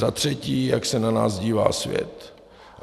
Za třetí, jak se na nás dívá svět.